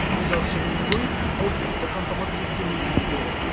бұл газ шығынын жойып қауіпсіздікті қамтамасыз етуге мүмкіндік беріп отыр